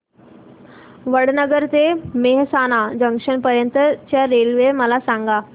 वडनगर ते मेहसाणा जंक्शन पर्यंत च्या रेल्वे मला सांगा